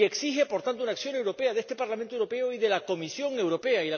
Y exigen, por tanto, una acción europea de este Parlamento Europeo y de la Comisión Europea.